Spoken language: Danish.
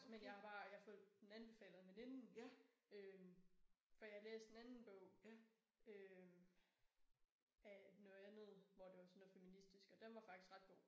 Men jeg har bare jeg har fået den anbefalet af en veninde øh for jeg læste en anden bog øh af noget andet hvor det var sådan noget feministisk og den var faktisk ret god